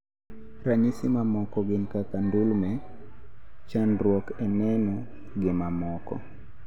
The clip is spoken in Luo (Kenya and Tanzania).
Ranyisi mamoko gin kaka ndulme, chandruok e neno gi mamoko